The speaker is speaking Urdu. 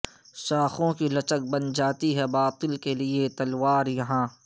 شاخوں کی لچک بن جاتی ہے باطل کے لیے تلوار یہاں